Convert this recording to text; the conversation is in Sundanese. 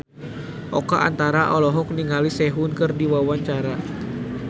Oka Antara olohok ningali Sehun keur diwawancara